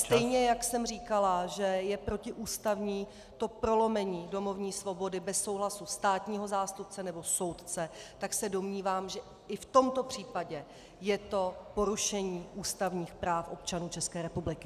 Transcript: Stejně jak jsem říkala, že je protiústavní to prolomení domovní svobody bez souhlasu státního zástupce nebo soudce, tak se domnívám, že i v tomto případě je to porušení ústavních práv občanů České republiky.